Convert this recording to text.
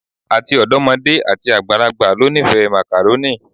Ati ọdọmode ati agbalagba lo nifẹ Macaroni